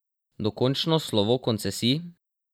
Dokončno slovo koncesij?